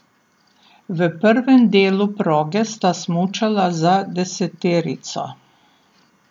V prvem delu proge sta smučala za deseterico.